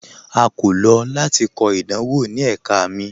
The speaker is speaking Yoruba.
A kò lọ lati kọ idanwọ ni ẹ̀kà mi.